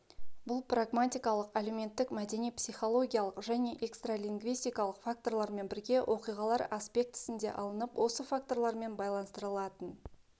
бұл прагматикалық әлеуметтік мәдени психологиялық және экстралингвистикалық факторлармен бірге оқиғалар аспектісінде алынып осы факторлармен байланыстырылатын